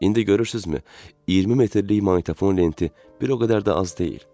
İndi görürsünüzmü, 20 metrlik maqnitofon lenti bir o qədər də az deyil.